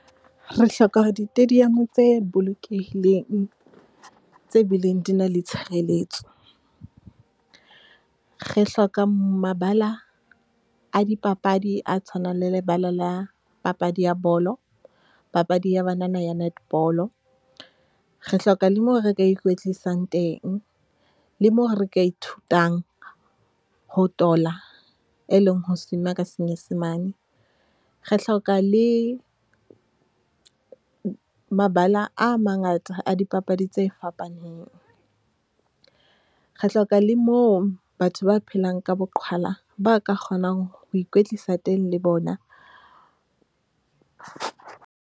Re hloka ditadium tse bolokehileng, tse bileng di na le tshireletso. Re hloka mabala a dipapadi a tshwanang le lebala la papadi ya bolo, papadi ya banana ya netball-o. Re hloka le moo re ka ikwetlisang teng, le moo re ka ithutang ho tola e leng ho swim-a ka senyesemane. Re hloka le mabala a mangata a dipapadi tse fapaneng. Re hloka le moo batho ba phelang ka boqhwala, ba ka kgonang ho ikwetlisa teng le bona.